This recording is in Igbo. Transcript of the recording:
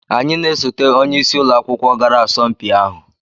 anyị na osote onye isi ụlọ akwụkwọ gara asọmpi ahụ